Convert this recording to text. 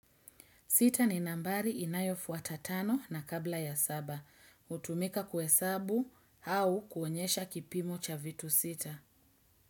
Sita ni nambari inayofuata tano na kabla ya saba. Hutumika kuhesabu, au kuonyesha kipimo cha vitu sita.